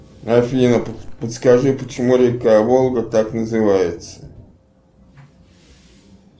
афина подскажи почему река волга так называется